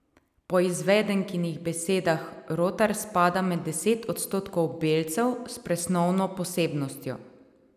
Po izvedenkinih besedah Rotar spada med deset odstotkov belcev s presnovno posebnostjo.